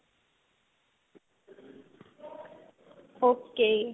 okay